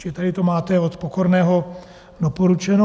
- Čili tady to máte od Pokorného doporučeno.